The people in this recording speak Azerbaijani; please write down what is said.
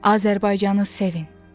Azərbaycanı sevin.